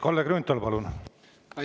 Kalle Grünthal, palun!